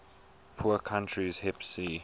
poor countries hipc